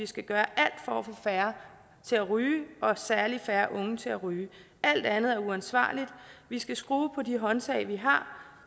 skal gøre alt for at få færre til at ryge og særlig at færre unge til at ryge alt andet er uansvarligt vi skal skrue på de håndtag vi har